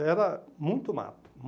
Era muito mato.